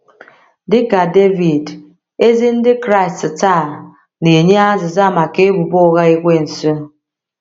Dị ka Devid, ezi Ndị Kraịst taa na - enye azịza maka ebubo ụgha Ekwensu.